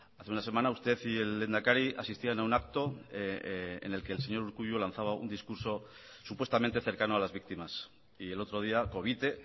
hace una semana usted y el lehendakari asistían a un acto en el que el señor urkullu lanzaba un discurso supuestamente cercano a las víctimas y el otro día covite